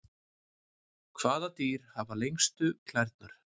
Hvaða dýr hafa lengstu klærnar?